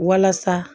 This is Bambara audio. Walasa